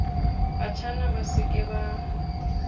batjhana ba se ke ba